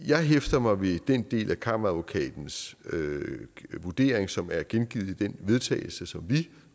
jeg hæfter mig ved den del af kammeradvokatens vurdering som er gengivet i den vedtagelse som vi